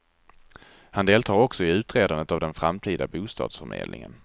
Han deltar också i utredandet av den framtida bostadsförmedlingen.